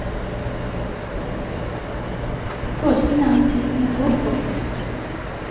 Påsken er en tid med håp og glede.